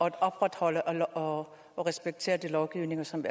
at opretholde og og respektere den lovgivning som